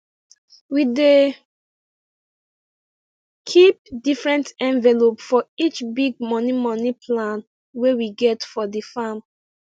we dey keep different envelope for each big money money plan wey we get for the farm